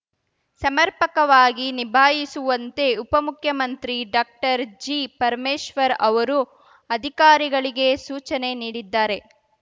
ಸಮರ್ಪಕವಾಗಿ ನಿಭಾಯಿಸುವಂತೆ ಉಪ ಮುಖ್ಯಮಂತ್ರಿ ಡಾಕ್ಟರ್ಜಿಪರಮೇಶ್ವರ್‌ ಅವರು ಅಧಿಕಾರಿಗಳಿಗೆ ಸೂಚನೆ ನೀಡಿದ್ದಾರೆ